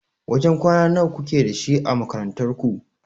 Wajen kwana nawa kuke da shi a makarantar ku?